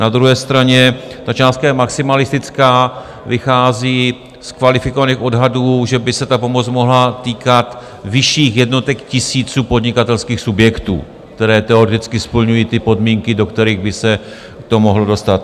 Na druhé straně ta částka je maximalistická, vychází z kvalifikovaných odhadů, že by se ta pomoc mohla týkat vyšších jednotek tisíců podnikatelských subjektů, které teoreticky splňují ty podmínky, do kterých by se to mohlo dostat.